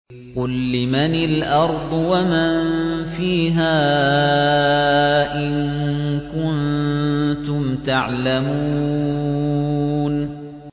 قُل لِّمَنِ الْأَرْضُ وَمَن فِيهَا إِن كُنتُمْ تَعْلَمُونَ